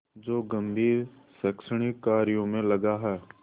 जो गंभीर शैक्षणिक कार्यों में लगा है